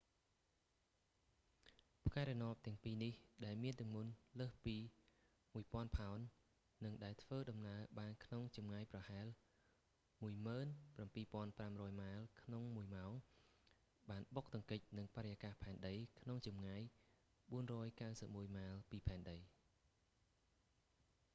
ផ្កាយរណបទាំងពីរនេះដែលមានទម្ងន់លើសពី 1000 ផោន និងដែលធ្វើដំណើរបានក្នុងចម្ងាយប្រហែល 17500 ម៉ាយក្នុងមួយម៉ោងបានបុកទង្គិចនឹងបរិយាកាសផែនដីក្នុងចម្ងាយ 491 ម៉ាយល៍ពីផែនដី